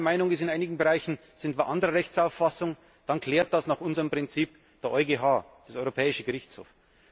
Und wenn Ungarn der Meinung ist, in einigen Bereichen sind wir anderer Rechtsauffassung, dann klärt das nach unserem Prinzip der EuGH, der Europäische Gerichtshof.